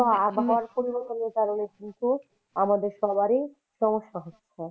তো আবহাওয়া পরিবর্তনের কারণেই কিন্তু আমাদের সবারই সমস্যা হচ্ছে ।